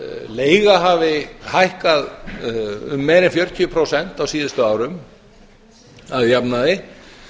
leiga hafi hækkað um meira en fjörutíu prósent á síðustu árum að jafnaði